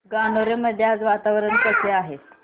गणोरे मध्ये आज वातावरण कसे आहे